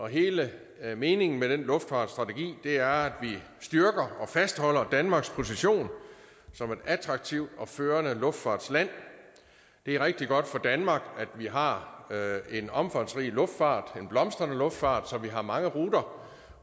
hele meningen med den luftfartsstrategi er at vi styrker og fastholder danmarks position som et attraktivt og førende luftfartsland det er rigtig godt for danmark at vi har en omfangsrig luftfart en blomstrende luftfart så vi har mange ruter